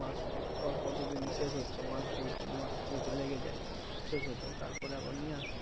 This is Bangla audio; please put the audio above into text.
মাস কত দিন শেষ হচ্ছে মাস দু-তিন মাস যদি লেগে যায় শেষ হতে তার পরে আবার নিয়ে আসবো